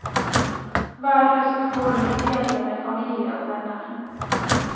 Hver høst går hun i fjellet med familie og venner.